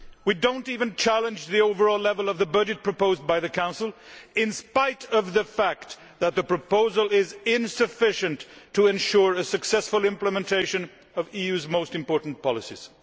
We do not even challenge the overall level of the budget proposed by the Council, in spite of the fact that the proposal is insufficient to ensure a successful implementation of the EU's most important policies.